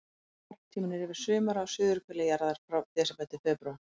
Varptíminn er yfir sumarið á suðurhveli jarðar, frá desember til febrúar.